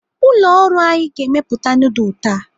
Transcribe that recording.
Ụlọ ọrụ anyi ga-emepụta nudul taa.